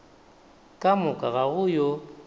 ka moka ga go yo